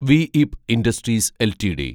V E P industries LTD